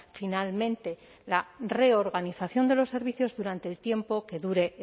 finalmente la reorganización de los servicios durante el tiempo que dure